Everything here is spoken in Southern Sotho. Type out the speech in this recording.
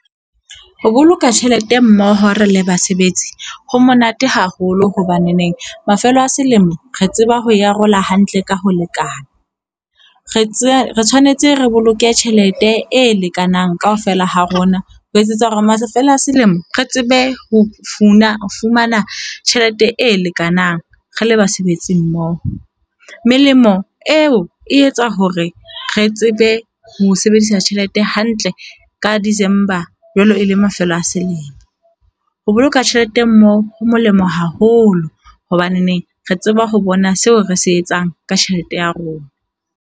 Ho boloka tjhelete mmoho re le basebetsi, ho monate haholo hobaneneng mafelo a selemo re tseba ho e arola hantle ka ho lekana. Re tsebe re tshwanetse re boloke tjhelete e lekanang kaofela ha rona. Ho etsetsa hore mafelo a selemo re tsebe ho fumana ho fumana tjhelete e lekanang. Re le basebetsi mmoho. Melemo eo e etsa hore re tsebe ho sebedisa tjhelete hantle ka December jwalo e le mafelo a selemo. Ho boloka tjhelete mmoho ho molemo haholo hobaneneng re tseba ho bona seo re se etsang ka tjhelete ya rona.